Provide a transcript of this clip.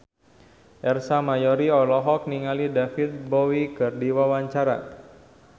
Ersa Mayori olohok ningali David Bowie keur diwawancara